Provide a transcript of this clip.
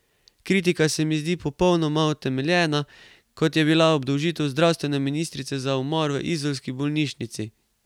Kritika se mi zdi podobno utemeljena, kot je bila obdolžitev zdravstvene ministrice za umor v izolski bolnišnici.